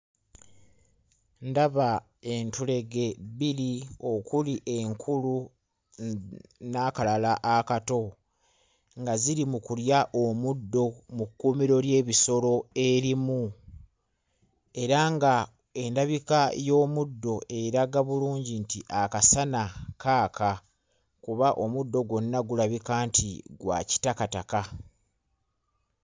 Ndaba entulege bbiri okuli enkulu n'akalala akato nga ziri mu kulya omuddo mu kkuumiro ly'ebisolo erimu era ng'endabika y'omuddo eraga bulungi nti akasana kaaka kuba omuddo gwonna gulabika nti gwa kitakataka.